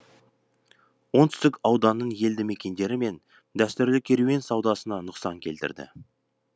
оңтүсгік ауданның елді мекендері мен дәстүрлі керуен саудасына нұқсан келтірді